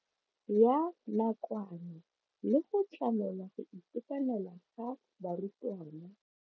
Ya nakwana le go tlamela go itekanela ga barutwana.